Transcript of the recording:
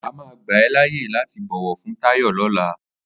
Àmá gbà è làyé làtí bọwọ fún Tayo lọ̀lá